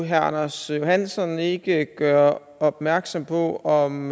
herre anders johansson ikke gøre opmærksom på om